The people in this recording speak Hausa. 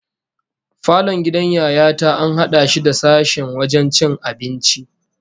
Falon gidan Yaya ta an hada shi da sashen wajen cin abinci